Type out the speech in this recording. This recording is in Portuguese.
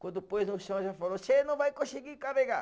Quando pôs no chão, já falou, você não vai conseguir carregar.